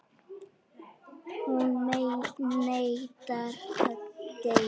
Hún neitar að deyja.